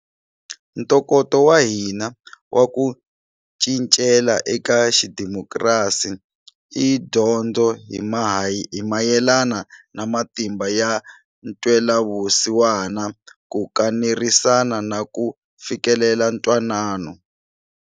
Ntokoto wa hina wa ku cincela eka xidemokirasi i dyondzo hi mayelana na matimba ya ntwelavusi wana, ku kanerisana na ku fikelela ntwanano.